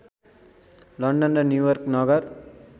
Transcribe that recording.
London र New York नगर